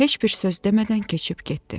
Heç bir söz demədən keçib getdi.